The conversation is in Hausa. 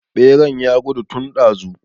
Beran ya gudu tun ɗazu